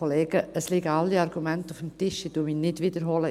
Es liegen alle Argumente auf dem Tisch, ich wiederhole sie nicht.